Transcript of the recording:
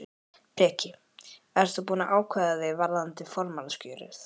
Breki: Ert þú búinn að ákveða þig varðandi formannskjörið?